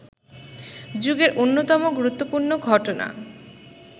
যুগের অন্যতম গুরুত্বপূর্ণ ঘটনা